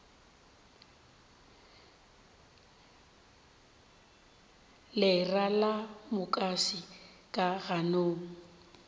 lera la mukase ka ganong